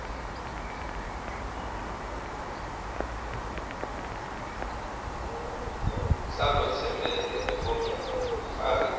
salotsembele efomini lekufaka